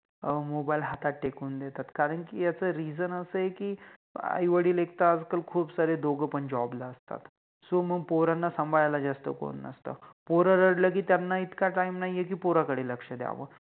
अ Mobile हातात लगेच तिकवुन देतात कारण कि Reason अस आहे कि आई वडिल एक तर आता खूप सारे दोघ पण Job ला असतात सो मंग पोराना साम्भाळायला जास्त कोनि नसतात, पोर रडले कि त्याना इतका Time नाहि आहे कि पोराकडे लक्ष द्याव